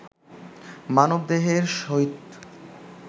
মানবদেহের সহিত